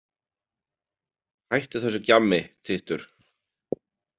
Hættu þessu gjammi, tittur.